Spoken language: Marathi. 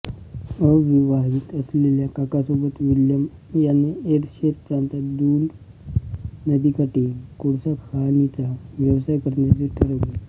अविवाहित असलेल्या काकासोबत विल्यम याने एरशेर प्रांतात दून नदीकाठी कोळसाखाणीचा व्यवसाय करण्याचे ठरविले